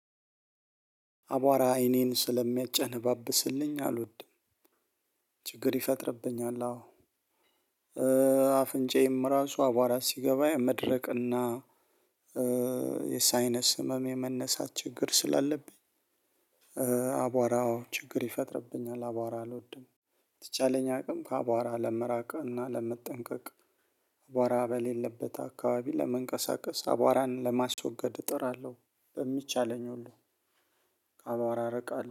አቧራ አይኔን ስለሚያጨነባብስልኝ አልወድም። ችግር ይፈጥርብኛል አዎ አዎ። አፍንጫዬም ራሱ አቧራ ሲገባ የመድረቅና የሳይነስ ህመም የመነሳት ችግር ስላለብኝ። አቧራው ችግር ይፈጥርብኛል። አቧራ አልወድም። በተቻለኝ አቅም ከአቧራ ለመራቀቅ እና ለመጠንቀቅ አቧራ በሌለበት አካባቢ ለመንቀሳቀስ አቧራን ለማስወገድ እጥራለሁ። በሚቻለኝ ሁሉ